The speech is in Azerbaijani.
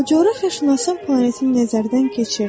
O coğrafiyaçının planetinə nəzərdən keçirdi.